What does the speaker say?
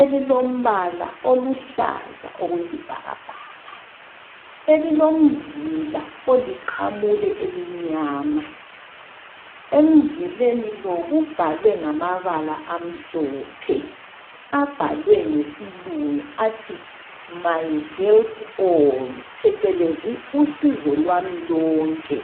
elilombala oluhlaza okwesibhakabhaka elilomzila oliqamule elimnyama, emzileni lo kubhalwe ngamabala amhlophe abhalwe ngesilungu athi MyHelp AII phecelezi usizo lwami lonke.